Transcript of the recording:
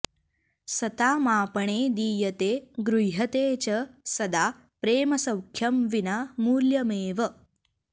सतामापणे दीयते गृह्यते च सदा प्रेमसौख्यं विना मूल्यमेव